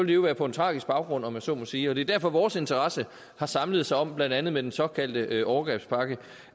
jo være på en tragisk baggrund om jeg så må sige og det er derfor vores interesse har samlet sig om blandt andet med den såkaldte overgrebspakke